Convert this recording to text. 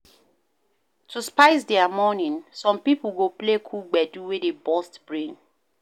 To spice their morning, some pipo go play cool gbedu wey dey burst brain